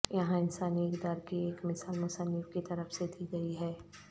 یہاں انسانی اقدار کی ایک مثال مصنف کی طرف سے دی گئی ہے